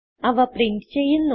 അവ പ്രിന്റ് ചെയ്യുന്നു